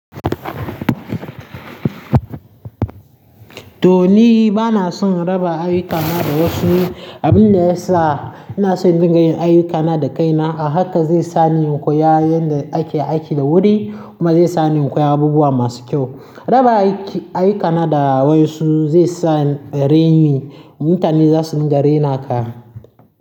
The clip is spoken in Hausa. To ni bana son raba ayyukana da wasu. Abin da ya sa ina son in dinga yin ayyukana da kaina haka zai sa ni in koya yanda ake aiki da wuri kuma zai sa ni in koya abubuwa masu kyau. Raba ayyu- ayyukana da wasu zai sa ren yi. Mutane za su ringa rena ka.